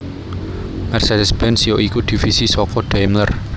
Mercedes Benz ya iku divisi saka Daimler